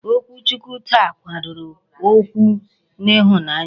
Okwu Chukwu taa gbadoro ụkwụ n'ịhụnanya.